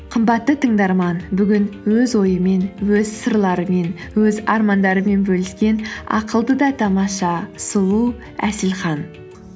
қымбатты тыңдарман бүгін өз ойымен өз сырларымен өз армандарымен бөліскен ақылды да тамаша сұлу әселхан